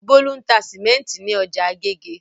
Bólú ń ta sìmẹ́ńtì ní ọjà Agége.